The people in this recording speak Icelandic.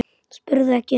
spurði ekki um